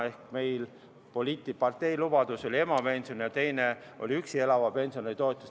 Üks meie partei poliitiline lubadus oli emapension ja teine oli üksi elava pensionäri toetus.